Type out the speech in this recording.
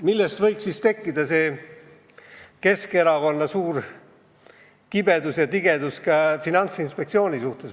Millest võis siis tekkida Keskerakonna suur kibestumine ja tigedus Finantsinspektsiooni vastu?